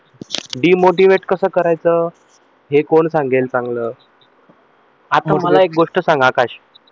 demotivate कस करायचं हे कोण सांगेल चांगलं? आता मला एक गोष्ट सांग आकाश